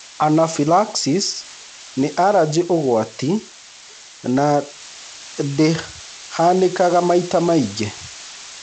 Anaphylaxis nĩ arajĩ ũgwati no ndĩhanĩkaga maita maingĩ.